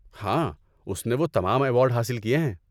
ہاں، اس نے وہ تمام ایوارڈ حاصل کیے ہیں۔